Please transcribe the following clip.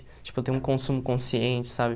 Tipo, eu tenho um consumo consciente, sabe?